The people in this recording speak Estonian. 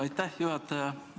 Aitäh, juhataja!